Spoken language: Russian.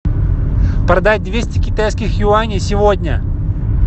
продать двести китайских юаней сегодня